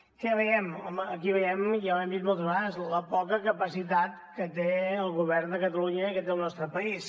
què veiem home aquí veiem ja ho hem dit moltes vegades la poca capacitat que té el govern de catalunya i que té el nostre país